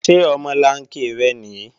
Ṣé omolanke rẹ nìí?